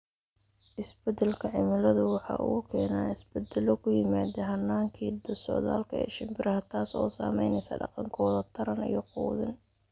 Isbeddelka cimiladu waxa uu keenaa isbeddelo ku yimaadda hannaankii socdaalka ee shimbiraha, taas oo saamaysay dhaqankooda taran iyo quudin.